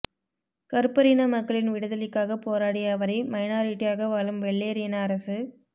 கறுப்பர் இன மக்களின் விடுதலைக்காக போராடிய அவரை மைனாரிட்டியாக வாழும் வெள்ளையர் இன அரசு